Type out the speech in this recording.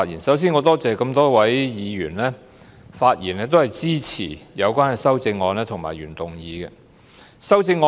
首先，我感謝多位議員發言支持有關的修正案及原議案。